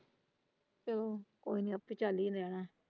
ਚੱਲੋ ਕੋਈ ਨਾਂ ਆਪੇ ਚੱਲ ਹੀ ਜਾਣਾ ਹੈ।